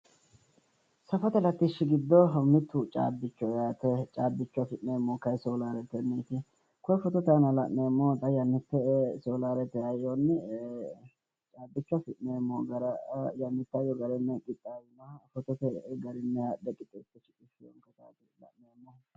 Safote latishshi giddo mittu caabbichoho yaate. Caabbicho afi'neemmohu kayinni soolaaretenniiti. Koye fotote aana la'neemmohu xa yannitte soolaarete hayyonni caabbicho afi'neemmo gara yannitte hayyo garinni qixxaawinoha fotote garinni haadhe qixxeessite shiqishshinohati la'neemmohu.